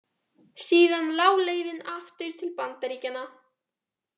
Síðan lá leiðin aftur til Bandaríkjanna.